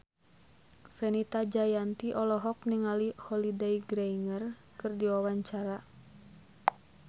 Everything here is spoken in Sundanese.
Fenita Jayanti olohok ningali Holliday Grainger keur diwawancara